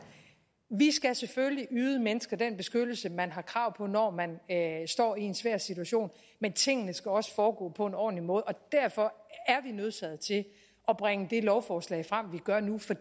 vi skal selvfølgelig yde mennesker den beskyttelse man har krav på når man står i en svær situation men tingene skal også foregå på en ordentlig måde og derfor er vi nødsaget til at bringe det lovforslag frem vi gør nu for